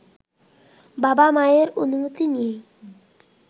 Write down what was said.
বাবা-মায়ের অনুমতি নিয়েই